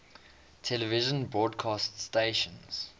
television broadcast stations